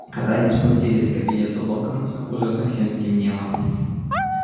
когда они спустились к кабинету локонса уже совсем стемнело